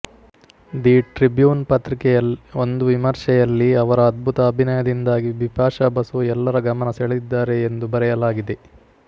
the Tribune ಪತ್ರಿಕೆಯ ಒಂದು ವಿಮರ್ಶೆಯಲ್ಲಿ ಅವರ ಅದ್ಭುತ ಅಭಿನಯದಿಂದಾಗಿ ಬಿಪಾಶಾ ಬಸು ಎಲ್ಲರ ಗಮನ ಸೆಳೆದಿದ್ದಾರೆ ಎಂದು ಬರೆಯಲಾಗಿದೆ